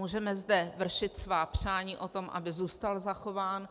Můžeme zde vršit svá přání o tom, aby zůstal zachován,